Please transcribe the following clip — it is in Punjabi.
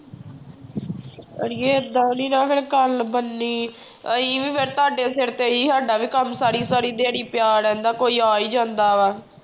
ਆੜੀਏ ਏਦਾਂ ਨੀ ਨਾ ਫਿਰ ਗੱਲ ਬਣਨੀ ਅਸੀਂ ਵੀ ਫਿਰ ਤੁਹਾਡੇ ਸਿਰ ਤੇ ਹੀ ਸਾਡਾ ਵੀ ਕੰਮ ਸਾਰੀ ਸਾਰੀ ਦਿਹਾੜੀ ਪਿਆ ਰਹਿੰਦਾ, ਕੋਈ ਆ ਹੀ ਜਾਂਦਾ ਵਾ।